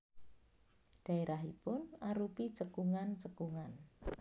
Dhaérahipun arupi cekungan cekungan